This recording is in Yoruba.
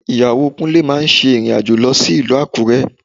Ìyàwó Kúnlé máa ṣe ìrìn-àjò lọ sí ìlú Àkúrẹ́